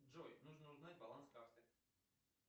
джой нужно узнать баланс карты